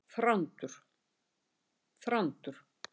Þrándur